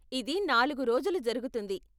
ఇది నాలుగు రోజులు జరుగుతుంది.